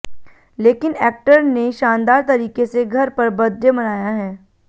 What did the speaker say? लेकिन एक्टर ने शानदार तरीके से घर पर बर्थडे मनाया है